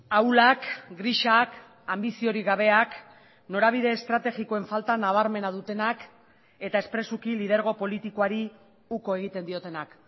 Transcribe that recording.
ahulak grisak anbiziorik gabeak norabide estrategikoen falta nabarmena dutenak eta espresuki lidergo politikoari uko egiten diotenak